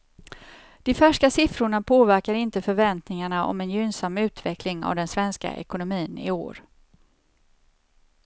De färska siffrorna påverkar inte förväntningarna om en gynnsam utveckling av den svenska ekonomin i år.